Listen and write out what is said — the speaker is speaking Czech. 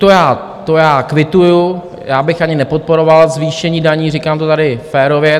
To já kvituji, já bych ani nepodporoval zvýšení daní, říkám to tady férově.